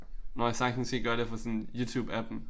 Når jeg sagtens kan gøre det fra sådan YouTube appen